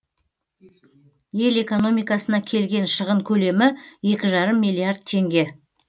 ел экономикасына келген шығын көлемі екі жарым миллиард теңге